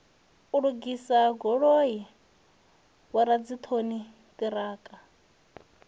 u lugisa goloi vhoradzikhon ṱiraka